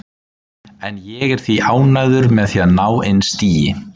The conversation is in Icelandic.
En ég er því ánægður með að ná inn stigi.